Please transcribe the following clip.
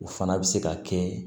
O fana bɛ se ka kɛ